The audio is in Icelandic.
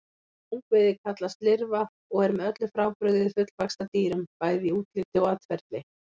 Ungviðið kallast lirfa og er með öllu frábrugðið fullvaxta dýrum, bæði í útliti og atferli.